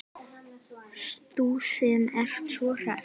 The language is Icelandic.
Þú sem ert svo hress!